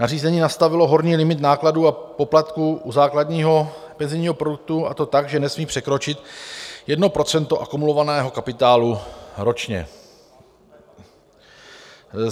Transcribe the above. Nařízení nastavilo horní limit nákladů a poplatků u základního penzijního produktu, a to tak, že nesmí překročit 1 % akumulovaného kapitálu ročně.